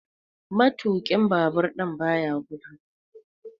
Matuƙin Babur ɗin baya gudu.